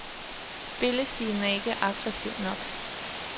Spillestilen er ikke aggressiv nok.